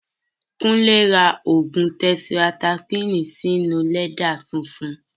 Kúnlé ra ògùn tẹtirasaikílìnì sí inú lẹ́dà funfun